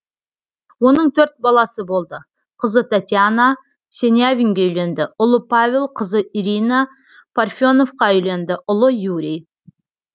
оның төрт баласы болды қызы татьяна сенявинге үйленді ұлы павел қызы ирина парфеновқа үйленді ұлы юрий